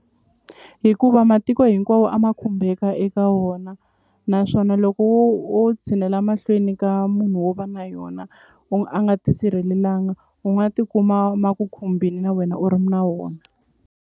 Hikuva matiko hinkwawo a ma khumbeka eka wona naswona loko wo wo tshinela mahlweni ka munhu wo va na yona a nga tisirhelelanga u nga tikuma ma ku khumbini na wena u ri na wona.